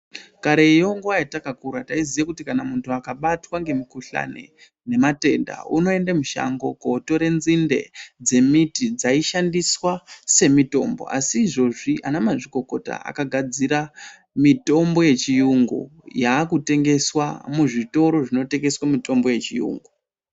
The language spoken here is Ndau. Kareyo nguwa yatakakura taiziye kuti kana munhu akabatwa ngemukhuhlani nematenda unoende mushango kotore nzinde dzemiti dzaishandiswa semitombo asi izvozvi anamazvikokota akagadzira mitombo yechiyungu yaakutengeswa muzvitoro zvaakutengeswa mitombo yechiyungu.